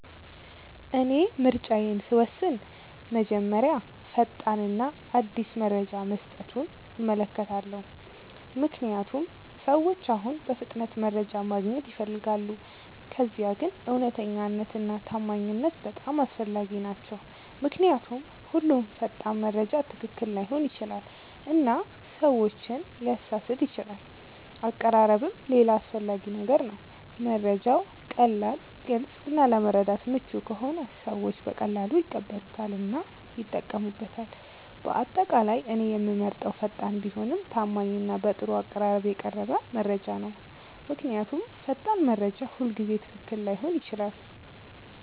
እኔ ምርጫዬን ስወስን መጀመሪያ ፈጣን እና አዲስ መረጃ መስጠቱን እመለከታለሁ፣ ምክንያቱም ሰዎች አሁን በፍጥነት መረጃ ማግኘት ይፈልጋሉ። ከዚያ ግን እውነተኛነት እና ታማኝነት በጣም አስፈላጊ ናቸው ምክንያቱም ሁሉም ፈጣን መረጃ ትክክል ላይሆን ይችላል እና ሰዎችን ሊያሳስት ይችላል አቀራረብም ሌላ አስፈላጊ ነገር ነው፤ መረጃው ቀላል፣ ግልጽ እና ለመረዳት ምቹ ከሆነ ሰዎች በቀላሉ ይቀበሉታል እና ይጠቀሙበታል። በአጠቃላይ እኔ የምመርጠው ፈጣን ቢሆንም ታማኝ እና በጥሩ አቀራረብ የቀረበ መረጃ ነው። ምክንያቱም ፈጣን መረጃ ሁልጊዜ ትክክል ላይሆን ይችላል።